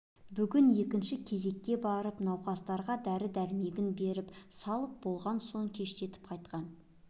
бүгін екінші кезекке барып науқастарға дәрі-дәрмегін беріп салып болған соң кештетіп қайтқан